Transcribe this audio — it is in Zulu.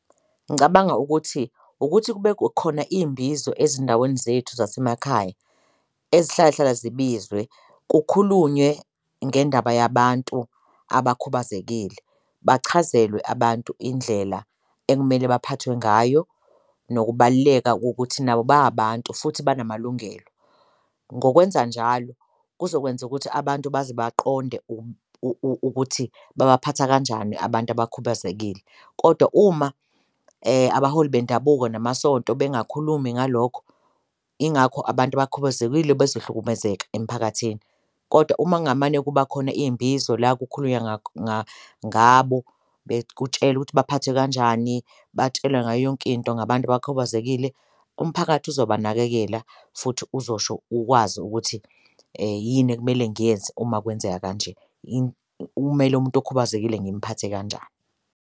Ngicabanga ukuthi ukuthi kube khona iy'mbizo ezindaweni zethu zasemakhaya ezihlalahlala zibizwe kukhulunywe ngendaba yabantu abakhubazekile, bachazelwe abantu indlela ekumele baphathwe ngayo nokubaluleka kokuthi nabo ba abantu futhi banamalungelo. Ngokwenzanjalo kuzokwenza ukuthi abantu baze baqonde ukuthi babaphatha kanjani abantu abakhubazekile, kodwa uma abaholi bendabuko namasonto bengakhulumi ngalokho ingakho abantu abakhubazekile bezohlukumezeka emiphakathini. Kodwa uma kungamane ukuba khona iy'mbizo la kukhulunywa ngabo kutshelwe ukuthi baphathwe kanjani, batshelwe ngayo yonke into ngabantu abakhubazekile umphakathi ozobanakekela futhi uzosho ukwazi ukuthi yini ekumele ngiyenze uma kwenzeka kanje, kumele umuntu okhubazekile ngimuphathe kanjani.